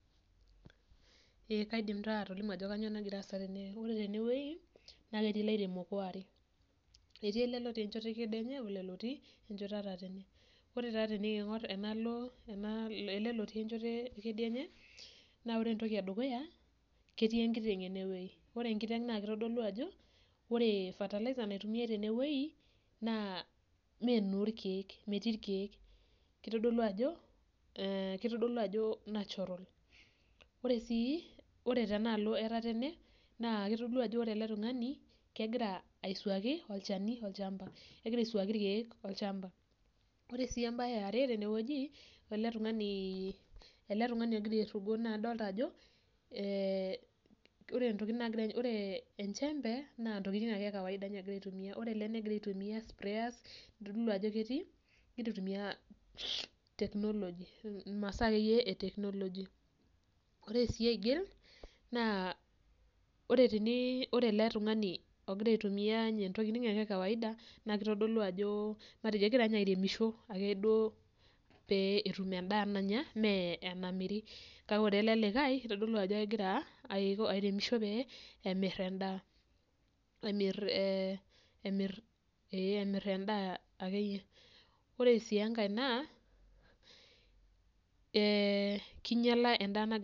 Kaidim taa atolimu ajo kanyioo nagira aasa tene. Ore teneweji naa ketii ilairemok oare, etii ale otii enchoto ekideinye o ilo lotii enchoto etetane. Kore taa tenikiing'or anaalo ale lotii enchoto ekidienye naa ore entoki edukuya, ketii enkiteng' enewueji. Ore enkiteng naa keitodolu ajo ore fertilizer naitumiari teneweji naa mee noo irkeek, metii irkeek. Keitodolu ajo natural. Ore sii tenealo etetene naa keitodolu ajo ore ale tungani kegira aisuaki olchani olchamba, kegira aisuaaki irkeek olchamba. Ore sii embaye eare teneweji, ale tungani otii aisugo adolita ajo, ore ntokitin naagira, ore enchembe naa ntokitin ake ekawaida egira ninye aitumiya, ore ale negira aitumiya sprayers eitodolu ajo ketii, ketii aitumiya teknoloji masaa ake iyie eteknoloji. Ore sii aigil naa ore tenii, ore ale tungani ogira aitumiya inatoki ake iyie ekawaida naa keitodolu ajo, matejo egira ninye airemisho ake duo pee etum endaa nanya mee enamiri, kake ore ale ilikae eitodolu ajo egira aremisho pee emir endaa, ee emir endaa ake iyie. Ore sii enkae naa keinyala endaa nagira.